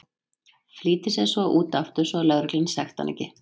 Flýtir sér svo út aftur svo að lögreglan sekti hann ekki.